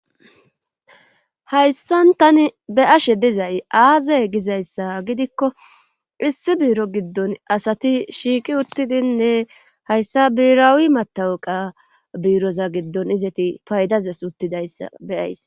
Hayssan tani be ashe dizay aaze gizayssa gidikko issi biiro giddon asati shiiqi uttidinne hayssa biirawi matawuqa biiroza giddon izati paydazes uttidayssa beyays.